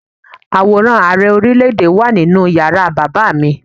Àwòrán Ààrẹ Orílé-èdè yí wà nínú yàrá bàbá mi